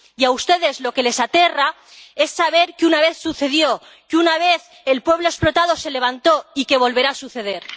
Y a ustedes lo que les aterra es saber que una vez sucedió, que una vez el pueblo explotado se levantó, y que volverá a suceder.